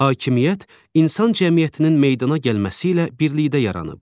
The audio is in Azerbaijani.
Hakimiyyət insan cəmiyyətinin meydana gəlməsi ilə birlikdə yaranıb.